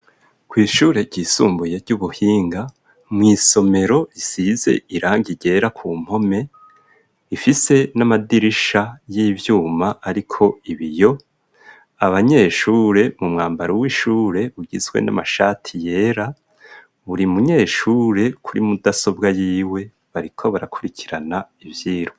Kw'ishure ryisumbuye ry'ubuhinga mw'isomero isize iranga iryera ku mpome ifise n'amadirisha y'ivyuma, ariko ibiyo abanyeshure mu mwambaro w'ishure ugizwe n'amashati yera buri munyeshure kuri mudasobwa yiwe bariko barakurikirana ivyirwa.